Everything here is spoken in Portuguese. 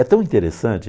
É tão interessante.